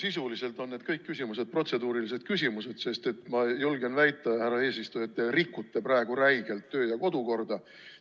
Sisuliselt on kõik need küsimused protseduurilised küsimused, sest ma julgen väita, härra eesistuja, et te rikute praegu räigelt kodu- ja töökorda.